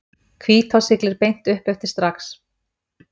Hvítá siglir beint uppeftir strax.